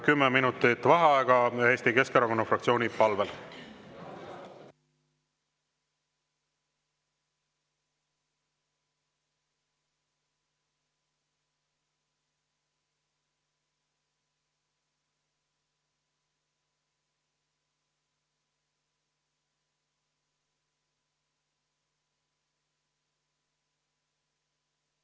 Kümme minutit vaheaega Eesti Keskerakonna fraktsiooni palvel.